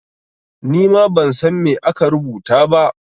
Ni ma ban san me aka rubuta ba.